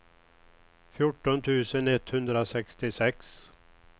fjorton tusen etthundrasextiosex